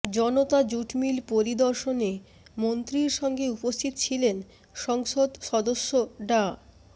জনতা jute mill পরিদর্শনে মন্ত্রীর সঙ্গে উপস্থিত ছিলেন সংসদ সদস্য ডা